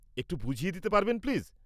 -একটু বুঝিয়ে দিতে পারবেন প্লিজ?